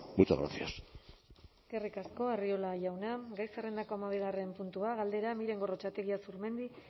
muchas gracias eskerrik asko arriola jauna gai zerrendako hamabigarren puntua galdera miren gorrotxategi azurmendi